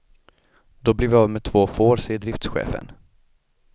Då blev vi av med två får, säger driftschefen.